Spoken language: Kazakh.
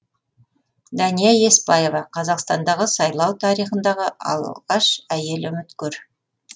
дәния еспаева қазақстандағы сайлау тарихындағы алғаш әйел үміткер